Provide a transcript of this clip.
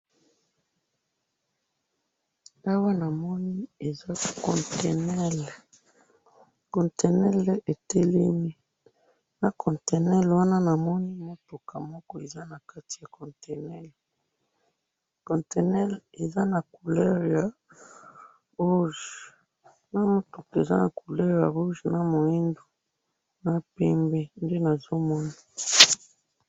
Awa namoni eza contenere, contenere etelemi, na contenere wana namoni mutuka moko eza nakati ya contenere, contenere eza na couler ya rouge, na mutuka eza na couleur ya rouge na mwindu, na pembe nde nazomona.